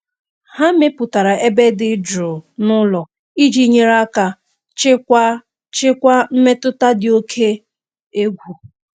Ha mepụtara ebe dị jụụ n'ụlọ iji nyere aka chịkwaa chịkwaa mmetụta dị oke egwu.